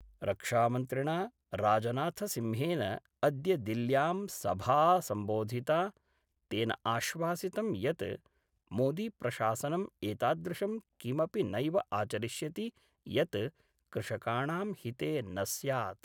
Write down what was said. रक्षामन्त्रिणा राजनाथसिंहेन अद्य दिल्ल्यां सभा संबोधिता, तेन आश्वासितं यत् मोदीप्रशासनं एतादृशं किमपि नैव आचरिष्यति यत् कृषकाणां हिते न स्यात्।